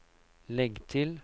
legg til